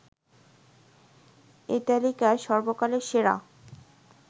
এই তালিকায় সর্বকালের সেরা